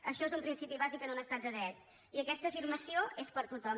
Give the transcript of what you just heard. això és un principi bàsic en un estat de dret i aquesta afirmació és per a tothom